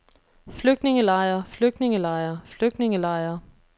flygtningelejre flygtningelejre flygtningelejre